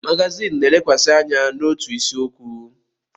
Magazin na-elekwasị anya n'otu isiokwu.